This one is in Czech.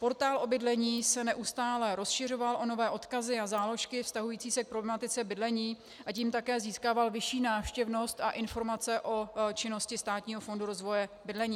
Portál o bydlení se neustále rozšiřoval o nové odkazy a záložky vztahující se k problematice bydlení, a tím také získával vyšší návštěvnost a informace o činnosti Státního fondu rozvoje bydlení.